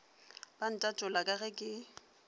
ba ntatola ka ge ke